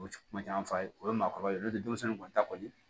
O kuma caman fa ye o ye maakɔrɔba ye n'o tɛ denmisɛnnin kɔni ta kɔni